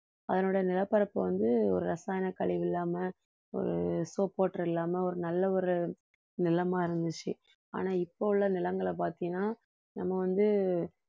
அதனுடைய நிலப்பரப்பு வந்து ஒரு ரசாயன கழிவு இல்லாம ஒரு soap water இல்லாம ஒரு நல்ல ஒரு நிலமா இருந்துச்சு ஆனா இப்ப உள்ள நிலங்களை பார்த்தீன்னா நம்ம வந்து